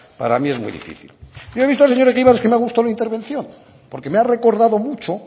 para mí es muy difícil yo he visto al señor egibar que me ha gustado la intervención porque me ha recordado mucho